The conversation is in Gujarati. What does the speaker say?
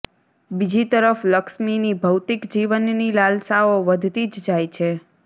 બીજી તરફ લક્ષ્મીની ભૌતિક જીવનની લાલસાઓ વધતી જ જાય છે